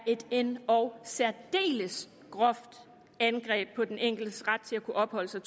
et endog særdeles groft angreb på den enkeltes ret til at kunne opholde sig